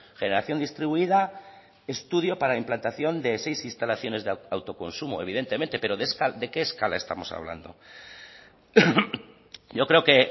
generación distribuida estudio para la implantación de seis instalaciones de autoconsumo evidentemente pero de qué escala estamos hablando yo creo que